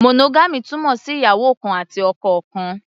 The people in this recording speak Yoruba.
Monogamy túmọ̀ sí ìyàwó kan àti ọkọ kan.